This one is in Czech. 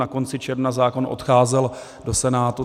Na konci června zákon odcházel do Senátu.